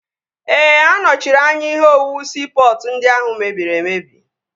Ee, anọchiri anya ihe owuwu siipọtụ ndị ahụ mere mmebi